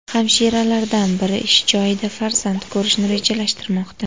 Hamshiralardan biri ish joyida farzand ko‘rishni rejalashtirmoqda.